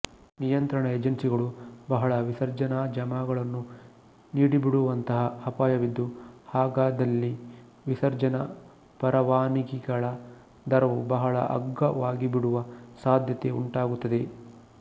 ನಿಯಂತ್ರಣ ಏಜೆನ್ಸಿಗಳು ಬಹಳ ವಿಸರ್ಜನ ಜಮಾಗಳನ್ನು ನೀಡಿಬಿಡುವಂತಹ ಅಪಾಯವಿದ್ದು ಹಾಗಾದಲ್ಲಿ ವಿಸರ್ಜನ ಪರವಾನಗಿಗಳ ದರವು ಬಹಳ ಅಗ್ಗವಾಗಿಬಿಡುವ ಸಾಧ್ಯತೆ ಉಂಟಾಗುತ್ತದೆ